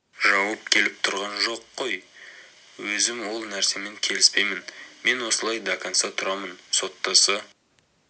жауып келіп тұрған жоқ қой өзім ол нәрсемен келіспеймін мен осылай до конца тұрамын соттаса